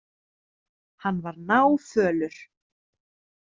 Hann var náfölur.